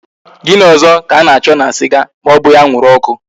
Gini ozo ka a na cho na siga ma obughi anwuru oku?